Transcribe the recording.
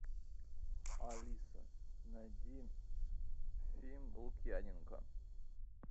алиса найди фильм лукьяненко